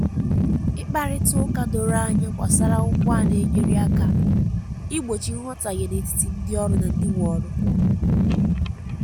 ị̀kparíta um ụ̀kà dòrò ànyà gbasàrà ụ́gbọ̀ à na-enyérị à na-enyérị àkà igbochi nghọ̀tàhie n’etítì ndị òrụ́ na ndị nwe òrụ́.